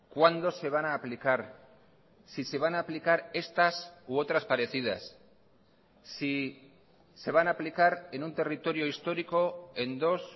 cuándo se van a aplicar si se van a aplicar estas u otras parecidas si se van a aplicar en un territorio histórico en dos